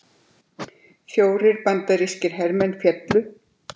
Fjórir bandarískir hermenn féllu